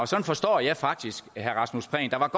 sådan forstår jeg faktisk herre rasmus prehn der var